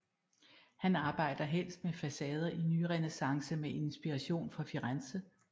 Han arbejde helst med facader i nyrenæssance med inspiration fra Firenze